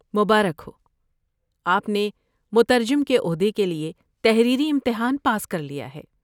مبارک ہو! آپ نے مترجم کی عہدے کے لیے تحریری امتحان پاس کر لیا ہے۔